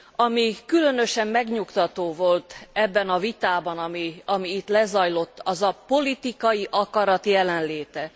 Ami különösen megnyugtató volt ebben a vitában, ami itt lezajlott, az a politikai akarat jelenléte.